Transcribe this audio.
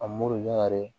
A mori ɲina dɛ